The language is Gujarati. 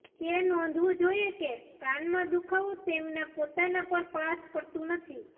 તે નોંધવું જોઇએ કે કાનમાં દુખાવો તેમના પોતાના પર પાસ કરતું નથી